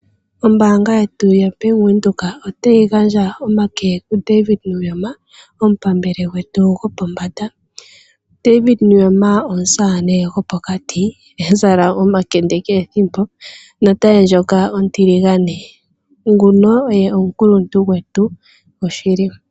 Ombaanga yetu yaBank Windhoek, otayi gandja omake ku David Nuyoma, omupambele gwetu gwopombanda. David Nuyoma omusamane gwopokati, ha zala omakende kehe ethimbo, notaye ndjoka oontiligane. Nguno oye omukuluntu gwetu gwashili.